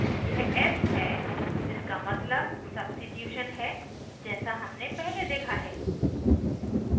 यह s है जिसका मतलब substitution है जैसा हमने पहले देखा है